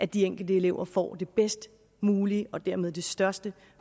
de enkelte elever får det bedst mulige og dermed det største